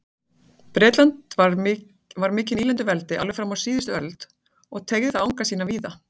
Bretland var mikið nýlenduveldi alveg fram á síðust öld og teygði það anga sína víða.